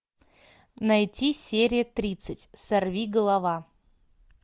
найти серия тридцать сорви голова